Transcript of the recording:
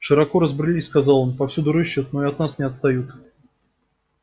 широко разбрелись сказал он повсюду рыщут но и от нас не отстают